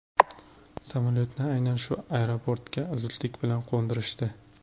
Samolyotni aynan shu aeroportga zudlik bilan qo‘ndirishdi.